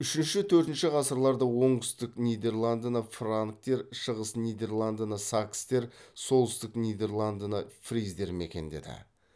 үшінші төртінші ғасырларда оңтүстік нидерландыны франктер шығыс нидерландыны сакстер солтүстік нидерландыны фриздер мекендеді